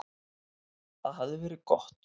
Það hafði verið gott.